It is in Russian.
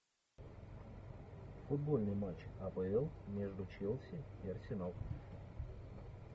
футбольный матч апл между челси и арсенал